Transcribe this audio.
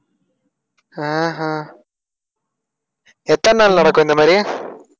ஆஹ் அஹ் எத்தன நாள் நடக்கும் இந்த மாதிரி?